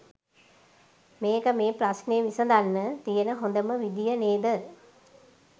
මේක මේ ප්‍රශ්නෙ විසඳන්න තියන හොඳම විදිය නේද?